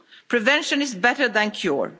Prevention is better than cure.